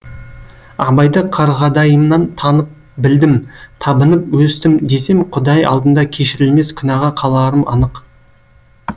абайды қарғадайымнан танып білдім табынып өстім десем құдай алдында кешірілмес күнәға қаларым анық